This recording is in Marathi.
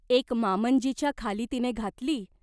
एक मामंजीच्या खाली तिने घातली.